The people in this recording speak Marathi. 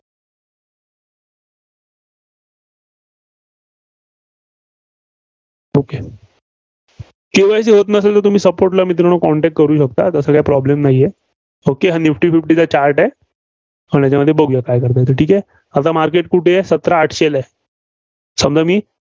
okay KYC होत नसेल, तर तुम्ही Support ला मित्रांनो Contact करू शकता. तसं काय problem नाहीये. okay हा निफ्टी फिफ्टीचा chart आहे. अन आपण ह्याच्यामध्ये बघुया. ठीक आहे. आता market कुठे आहे? सतरा आठशेला आहे. समजा मी